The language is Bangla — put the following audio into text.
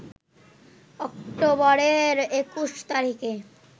অক্টোবরের ২১ তারিখে